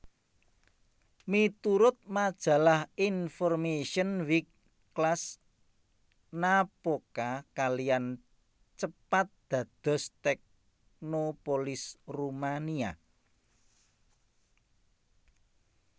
Miturut majalah InformationWeek Cluj Napoca kaliyan cepat dados teknopolis Rumania